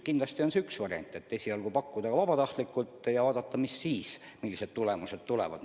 Kindlasti on üks variant esialgu lähtuda vabatahtlikkusest ja vaadata, millised tulemused tulevad.